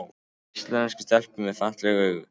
Íslenskar stelpur með falleg augu